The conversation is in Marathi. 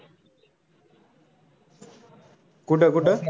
कुठं कुठं?